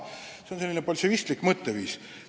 See on säärane bolševistlik mõtteviis.